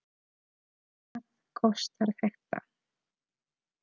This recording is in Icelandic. Hvað kostar þetta?